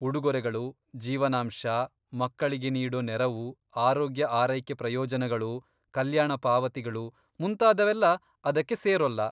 ಉಡುಗೊರೆಗಳು, ಜೀವನಾಂಶ, ಮಕ್ಕಳಿಗೆ ನೀಡೋ ನೆರವು, ಆರೋಗ್ಯ ಆರೈಕೆ ಪ್ರಯೋಜನಗಳು, ಕಲ್ಯಾಣ ಪಾವತಿಗಳು ಮುಂತಾದವೆಲ್ಲ ಅದಕ್ಕೆ ಸೇರೋಲ್ಲ.